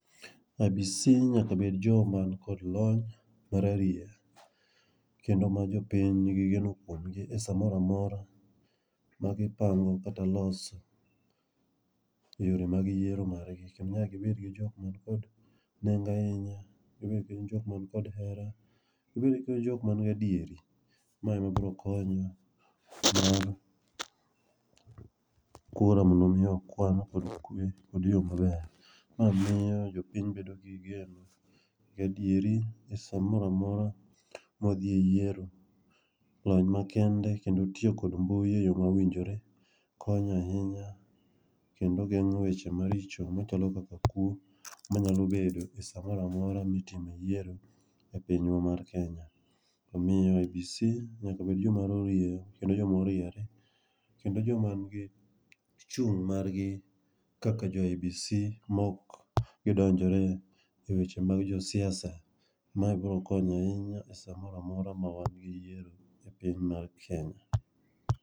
IEBC nyaka bed jogo man kod lony mararieya kendo jogo ma jopiny nigi geno kuomgi e samoro amora magipango kata loso yore mag yiero margi kendo nyaka gibed jok man kod nengo ahinya , gibed jok man kod hera, jok man gi adieri. Ma ema biro konyo kura mondo mi okwan kod yo maber, ma miyo jopiny bedo gi geno gi adieri saa moro amora ma wadhi e yiero lony makende kendo tiyo kod mbui eyoo mowinjore konyo ahinya kendo geng'o weche maricho machalo kaka kuo manyalo bedo esaa moro amora mitime yiero e piny mar Kenya. Omiyo IEBC nyaka bed joma rarieya kendo joma oriere kendo joma nigi chung' margi kaka jo IEBC maok gidonjore eweche mag siasa. Maa biro konyo ahinya samoro amora eseche mawadhi eyiero e piny mar Kenya.